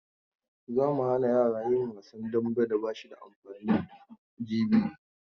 Za mu hana yara yin wasan dambe da ba shi da amfani jibi.